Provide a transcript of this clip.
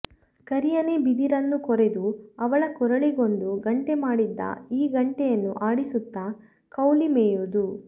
ಕರಿಯನೇ ಬಿದಿರನ್ನು ಕೊರೆದು ಅವಳ ಕೊರಳಿಗೊಂದು ಗಂಟೆ ಮಾಡಿದ್ದ ಈ ಗಂಟೆಯನ್ನು ಆಡಿಸುತ್ತಾ ಕೌಲಿ ಮೇಯುವುದು